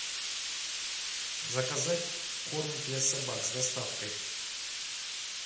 заказать корм для собак с доставкой